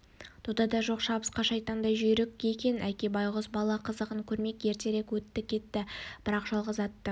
додаға жоқ шабысқа шайтандай жүйрік екен әке байғұс бала қызығын көрмей ертерек өтті-кетті бірақ жалғыз атты